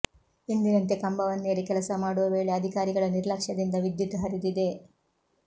ಎಂದಿನಂತೆ ಕಂಬವನ್ನೇರಿ ಕೆಲಸ ಮಾಡೋ ವೇಳೆ ಅಧಿಕಾರಿಗಳ ನಿರ್ಲಕ್ಷ್ಯದಿಂದ ವಿದ್ಯುತ್ ಹರಿದಿದೆ